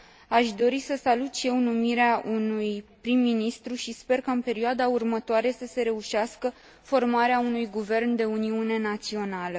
Aș dori să salut și eu numirea unui prim ministru și sper ca, în perioada următoare, să se reușească formarea unui guvern de uniune națională.